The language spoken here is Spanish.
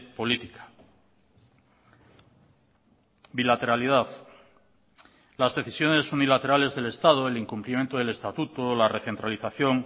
política bilateralidad las decisiones unilaterales del estado el incumplimiento del estatuto la recentralización